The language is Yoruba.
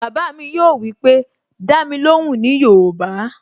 Bàbá mi yóò wípé, "Dá mi lóhùn ní yoòbá"